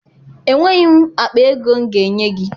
Enweghị m akpa ego m ga-enye gị.